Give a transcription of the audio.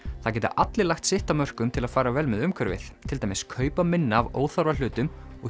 það geta allir lagt sitt af mörkum til að fara vel með umhverfið til dæmis kaupa minna af óþarfa hlutum og